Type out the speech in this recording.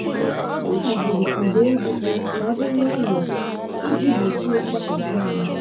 Ọ haziri ụda egwu ka ọ dị nwayọọ iji gbochie mgbakasị ahụ.